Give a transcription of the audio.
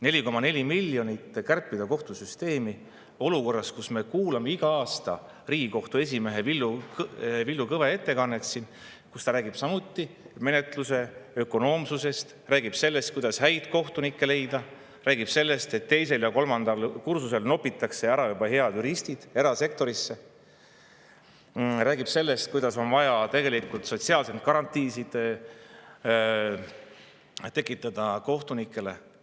4,4 miljonit kärbitakse kohtusüsteemist olukorras, kus iga aasta Riigikohtu esimees Villu Kõve oma ettekandes räägib menetluse ökonoomsusest, räägib sellest, kuidas häid kohtunikke leida, räägib sellest, et juba teisel ja kolmandal kursusel nopitakse head juristid ära erasektorisse, räägib sellest, kuidas on vaja sotsiaalseid garantiisid tekitada kohtunikele.